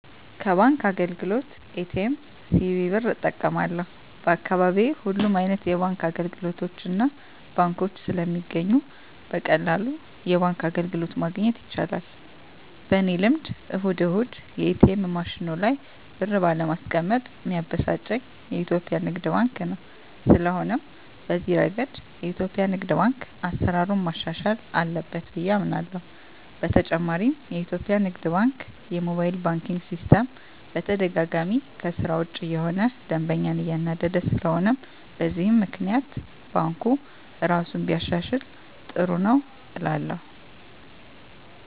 ከባንክ አገልግሎት ኤ.ቲ.ኤም፣ ሲቪ ብር እጠቀማለሁ፣ በአካባቢየ ሁሉም አይነት የባንክ አገልግሎቶችና ባንኮች ስለሚገኙ በቀላሉ የባንክ አገልግሎት ማግኘት ይቻላል። በኔ ልምድ እሁድ እሁድ የኤትኤም ማሽኑ ላይ ብር ባለማስቀመጥ ሚያበሳጨኝ የኢትዮጲያ ንግድ ባንክ ነው። ስለሆነም በዚህ እረገድ የኢትዮጲያ ንግድ ባንክ አሰራሩን ማሻሻል አለበት ብየ አምናለሆ። በተጨማሪም የኢትዮጲያ ንግድ ባንክ የሞባይል ባንኪን ሲስተም በተደጋጋሚ ከስራ ውጭ እየሆነ ደንበኛን እያናደደ ስለሆነም በዚህም ባንኩ እራሱን ቢያሻሽል ጥሩ ነው እላለሁ።